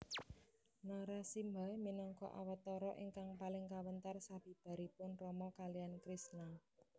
Narasimha minangka awatara ingkang paling kawentar sabibaripun Rama kaliyan Krisna